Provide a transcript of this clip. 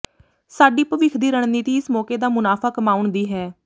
ਸਾਡੀ ਭਵਿੱਖ ਦੀ ਰਣਨੀਤੀ ਇਸ ਮੌਕੇ ਦਾ ਮੁਨਾਫ਼ਾ ਕਮਾਉਣ ਦੀ ਹੈ